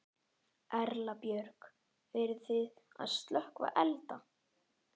Erla Björg: Eruð þið að slökkva elda?